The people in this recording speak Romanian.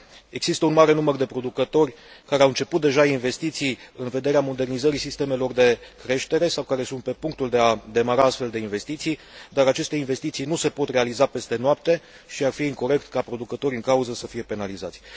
Există un mare număr de producători care au început, deja, investiții în vederea modernizării sistemelor de creștere sau care sunt pe punctul de a demara astfel de investiții, dar aceste investiții nu se pot realiza peste noapte, și ar fi incorect ca producătorii în cauză să fie penalizați.